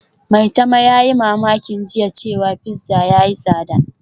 Maitama yayi mamakin jiya cewa pizza yayi tsada